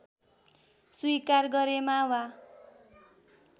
स्वीकार गरेमा वा